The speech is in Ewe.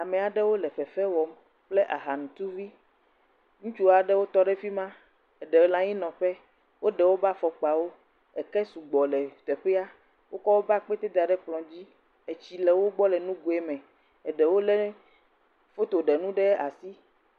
Ame aɖewo le fefe wɔm kple aha ŋutuvi. Ŋutsua adewo tɔ ɖe fima, eɖewo le anyi nɔ ƒe. Wole anyi nɔƒe, eke sugbɔ le teƒea. Wokɔ woƒe akpete da ɖe kplɔ dzi. Tsi le wògbɔ le nugoe me. Eɖewo le foto ɖenuwo ɖe asi